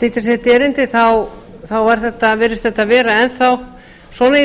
flytja sitt erindi þá virðist þetta vera enn svo í